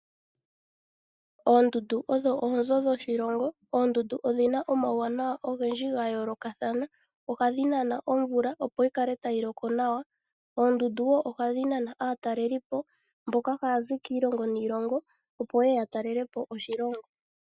Oondundu odho oonzo dhoshilongo. Oondundu odhina omauwanawa ogendji gayoolokathana ohadhi nana omvula opo yi kale tayi loko nawa. Oondundu woo ohadhi nana aatalelipo mboka haya zi kiilongo niilongo opo yeye ya talelepo oshilongo.